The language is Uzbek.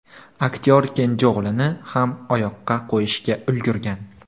Aktyor kenja o‘g‘lini ham oyoqqa qo‘yishga ulgurgan.